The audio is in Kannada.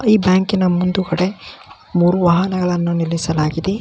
ಈ ಬ್ಯಾಂಕಿನ ಮುಂದುಗಡೆ ಮೂರೂ ವಾಹನಗಳನ್ನು ನಿಲ್ಲಿಸಲಾಗಿದೆ.